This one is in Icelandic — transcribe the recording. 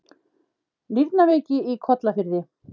Nýrnaveiki í Kollafirði